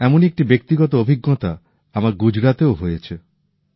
এমনই একটি ব্যাক্তিগত অভিজ্ঞতা আমার গুজরাতেও আছে